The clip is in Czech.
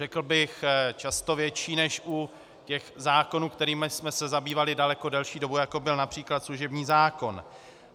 Řekl bych často větší než u těch zákonů, kterými jsme se zabývali daleko delší dobu, jako byl například služební zákon.